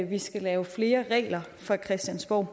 vi skal lave flere regler fra christiansborgs